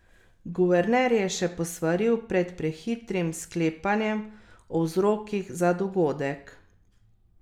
Guverner je še posvaril pred prehitrim sklepanjem o vzrokih za dogodek.